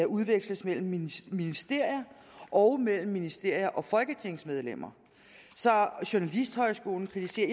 udveksles mellem ministerier og mellem ministerier og folketingsmedlemmer journalisthøjskolen kritiserer